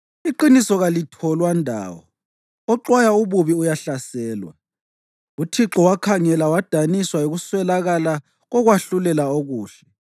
Iqiniso kalitholwa ndawo; oxwaya ububi uyahlaselwa. UThixo wakhangela wadaniswa yikuswelakala kokwahlulela okuhle.